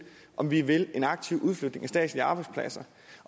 om vi vil en aktiv udflytning af statslige arbejdspladser